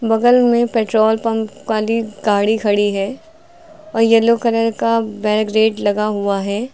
बगल में petrol pump वाली गाड़ी खड़ी है और येलो कलर लगा हुआ है।